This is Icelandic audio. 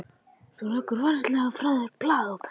Þú leggur varlega frá þér blaðið og pennann.